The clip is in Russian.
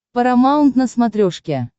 парамаунт на смотрешке